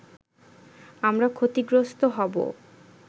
আমরা ক্ষতিগ্রস্ত হবো”